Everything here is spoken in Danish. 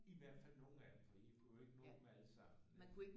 I hvert fald nogle af dem for I kunne jo ikke nå dem alle sammen vel